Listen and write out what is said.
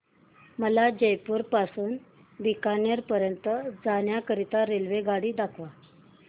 मला जयपुर पासून ते बीकानेर पर्यंत जाण्या करीता रेल्वेगाडी दाखवा